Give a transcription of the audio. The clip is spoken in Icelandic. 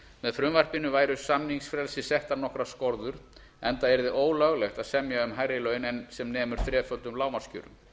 með frumvarpinu væru samningsfrelsi settar nokkrar skorður enda yrði ólöglegt að semja um hærri laun en sem nemur þreföldum lágmarkskjörum